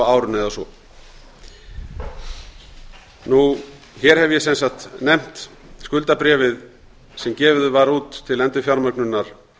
árinu eða svo hér hef ég sem sagt nefnt skuldabréfið sem gefið var út til endurfjármögnunar